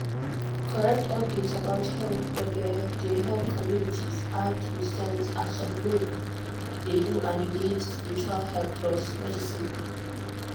correct update about health gbege dey help communities act with sense as some groups dey do and e need spiritual help plus medicine.